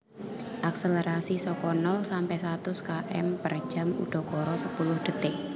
Akselerasi saka nol sampe satus km per jam udakara sepuluh detik